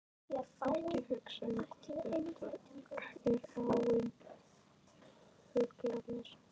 Ekkert hugsa um hvort þetta er áin eða fuglarnir.